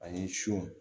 Ani sɔ